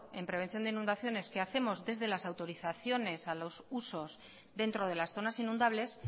en prevención de inundaciones que hacemos desde las autorizaciones a los usos dentro de las zonas inundables